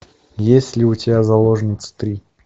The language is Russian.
есть ли у тебя заложница три